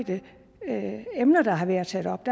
det endelige emner der har været taget op